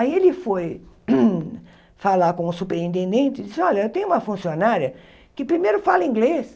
Aí ele foi falar com o superintendente e disse, olha, eu tenho uma funcionária que primeiro fala inglês,